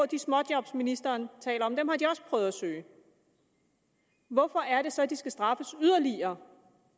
de småjob ministeren taler om dem har de også prøvet at søge hvorfor er det så at de skal straffes yderligere